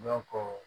Dɔnko